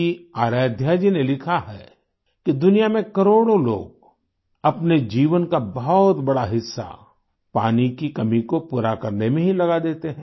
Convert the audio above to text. की आराध्या जी ने लिखा है कि दुनिया में करोड़ों लोग अपने जीवन का बहुत बड़ा हिस्सा पानी की कमी को पूरा करने में ही लगा देते हैं